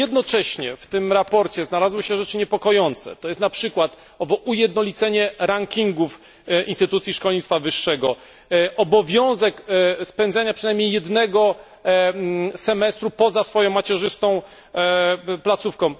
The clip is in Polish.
Ale jednocześnie w tym sprawozdaniu znalazły się rzeczy niepokojące to jest na przykład owo ujednolicenie rankingów instytucji szkolnictwa wyższego, obowiązek spędzenia przynajmniej jednego semestru poza swoją macierzystą placówką.